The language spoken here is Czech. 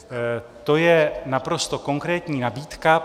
To je naprosto konkrétní nabídka.